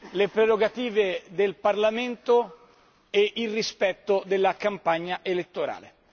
le prerogative del Parlamento e il rispetto della campagna elettorale.